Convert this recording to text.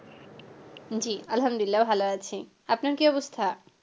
জি আলহামদুলিল্লা ভালো আছি, আপনার কী অবস্থা?